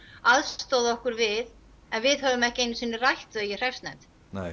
aðstoða okkur við en við höfum ekki einu sinni rætt þau í hreppsnefnd